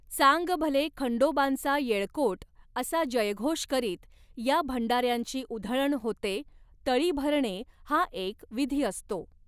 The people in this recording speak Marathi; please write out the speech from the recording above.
चांगभले खंडोबांचा येळकोट असा जयघोष करीत या भंडाऱ्यांची उधळण होते तळी भरणे हा एक विधी असतो.